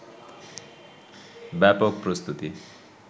ব্যাপক প্রস্তুতি